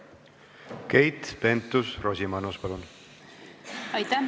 Keit Pentus-Rosimannus, palun!